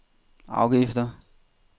afgifter